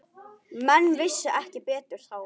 Menn vissu ekki betur þá.